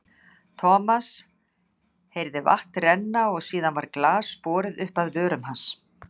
Thomas heyrði vatn renna og síðan var glas borið upp að vörum hans.